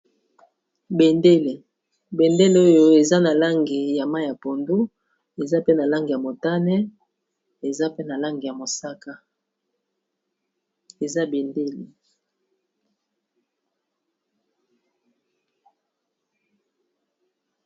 Bendele, bendele oyo eza na langi ya mai ya pondo, eza pe na langi ya motane, eza pe na langî ya mosaka. Eza bendele.